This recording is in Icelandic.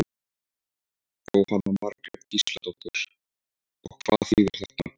Jóhanna Margrét Gísladóttir: Og hvað þýðir þetta?